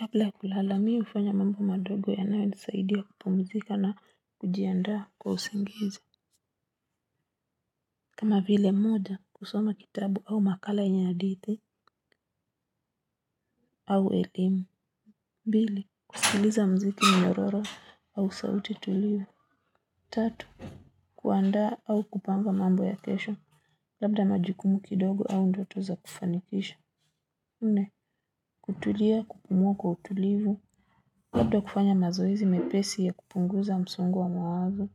Kabla kulala, mi ufanya mambo madogo yanayo nisaidia kupumzika na kujiandaa kwa usingizi. Kama vile moja, kusoma kitabu au makala yenya hadithi au elimu. Bili, kusiliza mziki mnyororo au sauti tulivu. Tatu, kuandaa au kupamba mambo ya kesho. Labda majikumu kidogo au ndoto za kufanikisha. Nne, kutulia kupumua kwa utulivu. Labda kufanya mazoezi mepesi ya kupunguza msongo wa mawazo.